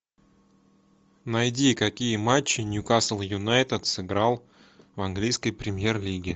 найди какие матчи ньюкасл юнайтед сыграл в английской премьер лиге